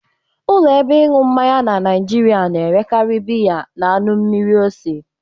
Ụlọ ebe ịṅụ mmanya na Naịjịrịa na-erekarị biya na anụ mmiri ose.